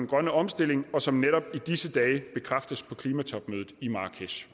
grønne omstilling og som netop i disse dage bekræftes på klimatopmødet i marrakesh